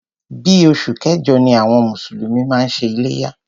Bí oṣù kẹjọ ni àwọn mùsùlùmí máa ń ṣe iléyá.